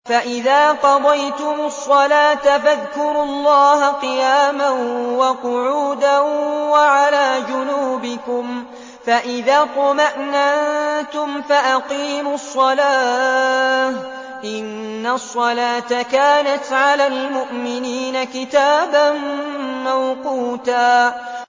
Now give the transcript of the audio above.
فَإِذَا قَضَيْتُمُ الصَّلَاةَ فَاذْكُرُوا اللَّهَ قِيَامًا وَقُعُودًا وَعَلَىٰ جُنُوبِكُمْ ۚ فَإِذَا اطْمَأْنَنتُمْ فَأَقِيمُوا الصَّلَاةَ ۚ إِنَّ الصَّلَاةَ كَانَتْ عَلَى الْمُؤْمِنِينَ كِتَابًا مَّوْقُوتًا